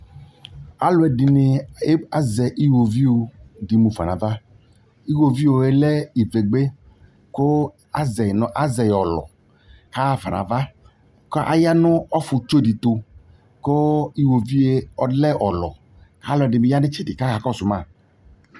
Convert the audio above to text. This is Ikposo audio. Aluɛde ne e, aze iwoviu de mu fa no ava Iwoviuɛ lɛ ivegbe ko azɛe no, azɛe ɔlɔ ka ha fa nava, ka ya no ɔfutsu de to, ko iwovie ɔlɛ ɔlɔ , ka alɔde be ya no itsɛde kaka kɔso ma